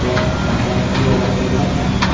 bank हा बँकचा व्यवहार केलेलाच चांगला --